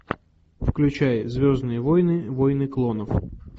включай звездные войны войны клонов